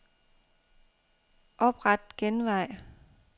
Opret genvej.